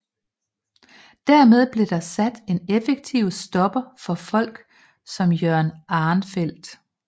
Dermed blev der sat en effektiv stopper for folk som Jørgen Arenfeldt